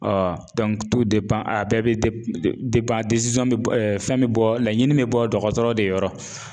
a bɛɛ bɛ fɛn bɛ bɔ laɲini bɛ bɔ dɔgɔtɔrɔ de yɔrɔ.